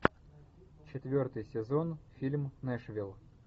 четвертый сезон фильм нэшвилл